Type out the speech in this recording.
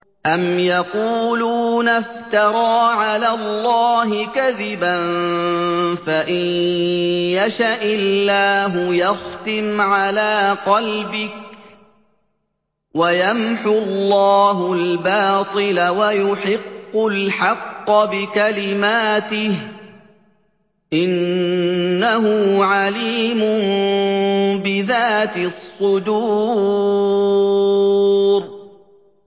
أَمْ يَقُولُونَ افْتَرَىٰ عَلَى اللَّهِ كَذِبًا ۖ فَإِن يَشَإِ اللَّهُ يَخْتِمْ عَلَىٰ قَلْبِكَ ۗ وَيَمْحُ اللَّهُ الْبَاطِلَ وَيُحِقُّ الْحَقَّ بِكَلِمَاتِهِ ۚ إِنَّهُ عَلِيمٌ بِذَاتِ الصُّدُورِ